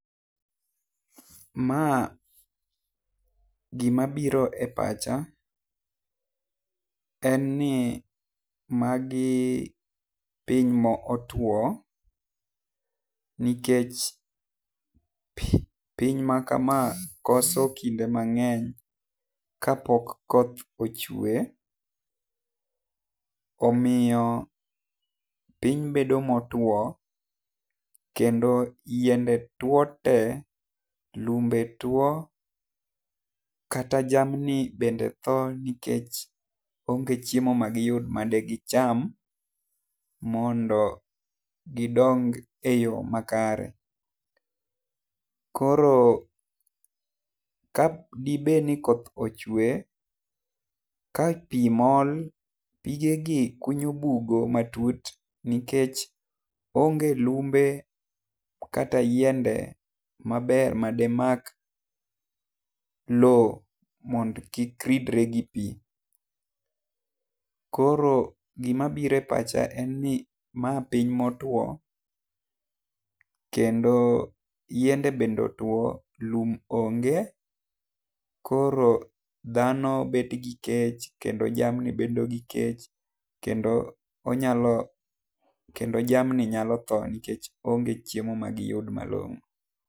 Ma gi ma biro e pacha, en ni magi piny ma otwo nikech pi piny ma kama koso kinde mang'eny ka pok koth ochwe omiyo piny bedo ma otwo kendo yiende two te, lumbe two kata jamni bende thoo nikech onge chiemo ma di gi yud ma de gi cham, mondo gi dong e yo makare. Koro ka di bed ni koth ochwe ka pi mol , pige gi kunyo bugo ma tut nikech onge lumbe kata yiende ma ber ma de mak loo mondo kik ridre gi pi. Koro gi ma biro e pacha en ni ma piny ma otwo kendo yiende bende otwo ,lum onge, koro dhano bet gi kech kendo jamni bedo gi kech kendo onyalo kendo jamni nyalo thoo nikech onge chiemo ma long'o.